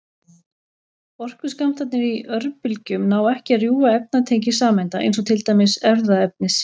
Orkuskammtarnir í örbylgjum ná ekki að rjúfa efnatengi sameinda, eins og til dæmis erfðaefnis.